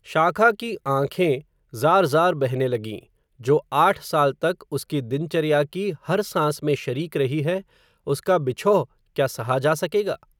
शाखा की आँखें, ज़ार ज़ार बहने लगीं, जो, आठ साल तक, उसकी दिनचर्या की, हर सांस में शरीक रही है, उसका बिछोह, क्या सहा जा सकेगा